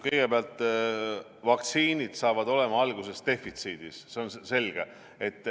Kõigepealt, vaktsiinid saavad alguses olema defitsiidis, see on selge.